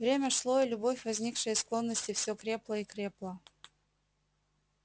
время шло и любовь возникшая из склонности все крепла и крепла